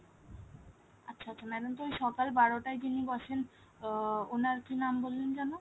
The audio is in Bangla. আচ্ছা আচ্ছা madam তো এই সকাল বারোটায় যিনি বসেন আহ ওনার কি নাম বললেন যেন ?